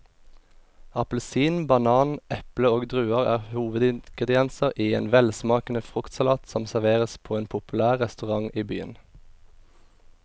Appelsin, banan, eple og druer er hovedingredienser i en velsmakende fruktsalat som serveres på en populær restaurant i byen.